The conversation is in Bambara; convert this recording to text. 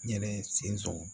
N yɛrɛ sen don